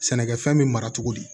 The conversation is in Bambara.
Sɛnɛkɛfɛn bɛ mara cogo di